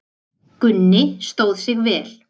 Gunni stóð sig vel.